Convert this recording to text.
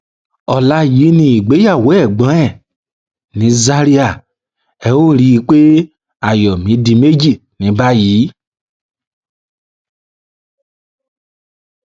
ọlá yìí ni ìgbéyàwó ẹgbọn ẹ ní zaria ẹ ó rí i pé ayọ mi di méjì ní báyìí